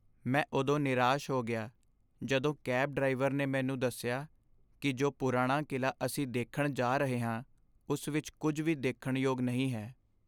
ਮੈਂ ਉਦੋਂ ਨਿਰਾਸ਼ ਹੋ ਗਿਆ ਜਦੋਂ ਕੈਬ ਡਰਾਈਵਰ ਨੇ ਮੈਨੂੰ ਦੱਸਿਆ ਕੀ ਜੋ ਪੁਰਾਣਾ ਕਿਲ੍ਹਾ ਅਸੀਂ ਦੇਖਣ ਜਾ ਰਹੇ ਹਾਂ ਉਸ ਵਿੱਚ ਕੁੱਝ ਵੀ ਦੇਖਣ ਯੋਗ ਨਹੀਂ ਹੈ